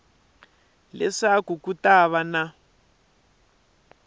leswaku ku ta va na